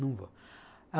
Não vou.